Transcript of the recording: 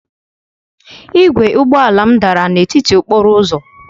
Igwe ụgbọ ala m dara n'etiti okporo ụzọ